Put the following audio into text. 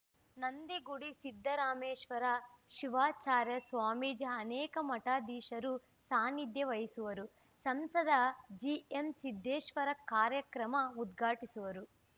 ನಂದಿಗುಡಿ ಸಿದ್ದರಾಮೇಶ್ವರ ಶಿವಾಚಾರ್ಯ ಸ್ವಾಮೀಜಿ ಅನೇಕ ಮಠಾಧೀಶರು ಸಾನಿಧ್ಯ ವಹಿಸುವರು ಸಂಸದ ಜಿಎಂಸಿದ್ದೇಶ್ವರ ಕಾರ್ಯಕ್ರಮ ಉದ್ಘಾಟಿಸುವರು